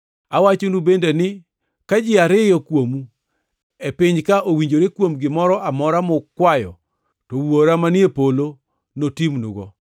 “Awachonu bende ni ka ji ariyo kuomu e piny-ka owinjore kuom gimoro amora mukwayo to Wuora manie polo notimnugo.